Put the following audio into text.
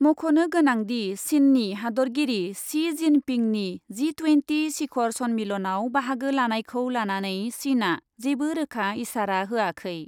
मख'नो गोनांदि, चिननि हादरगिरि शि जिनपिंनि जि टुयेन्टि शिखर सन्मिलनआव बाहागो लानायखौ लानानै चिनआ जेबो रोखा इसारा होयाखै।